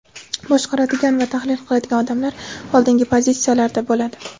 boshqaradigan va tahlil qiladigan odamlar oldingi pozitsiyalarda bo‘ladi.